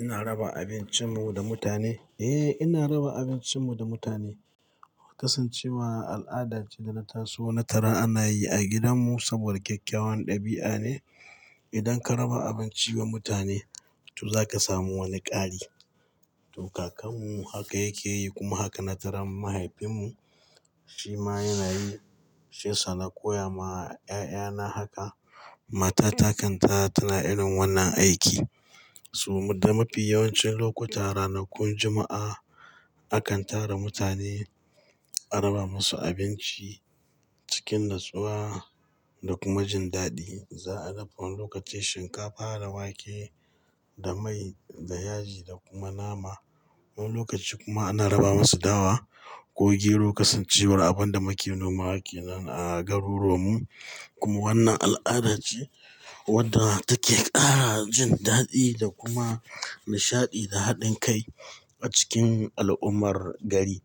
Ina raba abincin mu da mutane? Eh, ina raba abincin mu da mutane. Kasancewa al'ada ce da na taso na tara ana yi a gidan mu saboda kyakkyawan ɗabi'a ne. Idan ka raba abinci wa mutane, to za ka samu wani ƙari. To, kakanmu haka yake yi kuma haka na tara mahaifin mu, shi ma yana yi. Shi yasa na koya ma 'ya'ya na haka. Mata ta kan kata tana irin wannan aiki. So da mafi yawancin lokuta ranakun Juma'a nakan tara mutane a raba musu abinci cikin natsuwa da kuma jin daɗi. Za'a dafa wani lokaci shinkafa da wake da mai da yaji da kuma nama. Wani lokaci kuma ana raba musu dawa ko gero kasancewar abin da muka noma ke nan a garuruwan mu. Kuma wannan al'ada ce wadda take ƙara jin daɗi da kuma nishaɗi da haɗin kai a cikin al'ummar gari.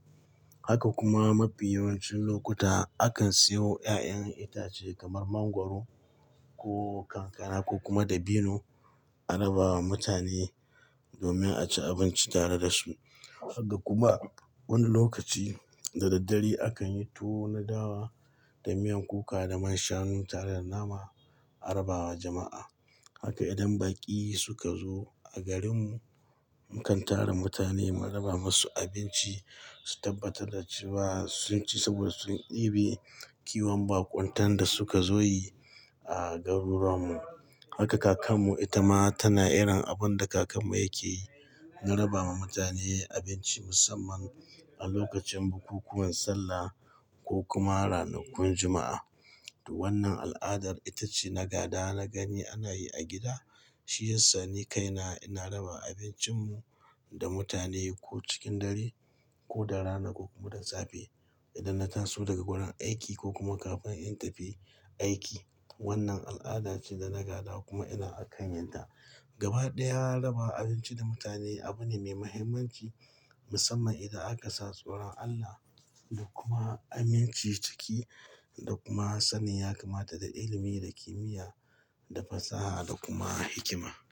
Haka kuma mafi yawancin lokuta akan siyo ƴaƴan itace kamar mangwaro ko kankara ko kuma dabino a raba wa mutane domin a ci abinci tare da su. Haka kuma wani lokaci da daddare akan yi tuwo dawa da miyan kuka da man shanu tare da nama a raba wa jama'a. Haka idan baƙi suka zo a garin mu, mukan tara mutane mu raba musu abinci su tabbata da ciwa sun ci saboda sun ɗibi kiwon baƙuntan da suka zo yi a garuruwan mu. Haka kakan mu ita ma tana iran abin da kakan mu yake yi na raba ma mutane abinci musamman a lokacin bukukuwan sallah ko kuma ranakun Juma'a. To wannan al'adar ita ce na gada na gani ana yi a gida. Shi yasa ni kaina ina raba abincin mu da mutane ko cikin dare ko da rana ko kuma da safe. Idan na taso daga wurin aiki ko kuma kafin in tafi aiki. Wannan al'ada ce da na gada kuma ina a kan yinta. Gaba ɗaya raba abinci da mutane abu ne mai muhimmanci musamman idan aka sa tsoron Allah da kuma aminci ciki da kuma sani ya kamata da ilimi da kimiyya da fasaha da kuma hikima.